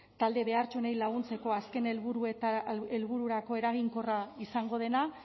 talde behartsuenei laguntzeko azken helbururako eraginkorra izango dena